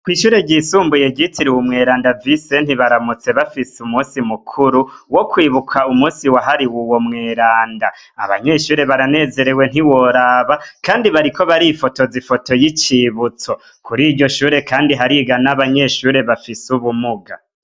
Kwishure ryisumbuye ryitiwe umweranda bise visenti bazindutse bafise umusi mukuru wo kwibuka umusi wahariwe uwo mweranda, abanyeshure baranezerewe ntiworaba kandi bariko barifotoza ifoto y'icibutso, kuriryo shure kandi hariga n'abanyeshure bafise ubumuga.